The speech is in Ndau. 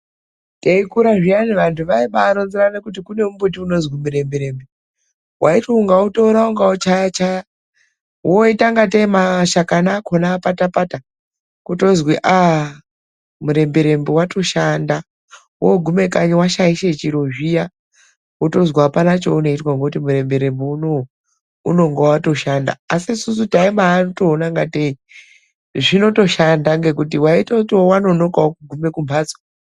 Teikura zviyani vandu vaibaaronzerana kuti kune mumbuti unonzi murembe rembe, waiti ukautora ukauchaya chaya woita ngatei mashakani acho akapata pata kotozi murembe rembe watoshanda. Wogume kanyi washaisha chiro zviya wotonzi apana chaunoitwa ngekuti murembe rembe unowu unenge watoshanda. Asi isusu taitoona kuti zvotoshanda ngekuti taitotiwo wanonokawo kugume kumbatso..